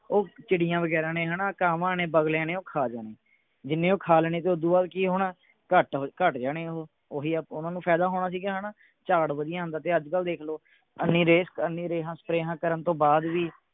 ਉਹ ਚਿੜੀਆਂ ਵਗੈਰਾ ਨੇ ਹਣਾ ਕਾਵਾਂ ਨੇ ਬਗਲਿਆਂ ਨੇ ਉਹ ਖਾ ਜਾਣੇ ਜਿੰਨੇ ਉਹ ਖਾ ਲੈਣੇ ਤੇ ਓਦੂੰ ਬਾਅਦ ਉਹ ਕਿ ਹੋਣਾ ਘੱਟ ਘੱਟ ਜਾਣੇ ਓਹੋ ਓਹੀ ਓਹਨਾ ਨੂੰ ਫਾਇਦਾ ਹੋਣਾ ਸੀਗਾ ਹਣਾ ਝਾੜ ਵਧੀਆ ਹੁੰਦਾ ਤੇ ਅੱਜਕਲ ਦੇਖ ਲੋ ਨਿਰੇ ਰੇਹਾਂ ਸਪ੍ਰੇਹਾਂ ਕਰਨ ਤੋਂ ਬਾਅਦ ਵੀ